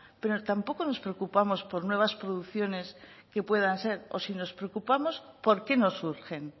pero tampoco nos preocupamos por nuevas producciones que puedan ser o si nos preocupamos por qué no surgen